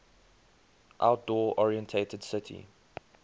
outdoor oriented city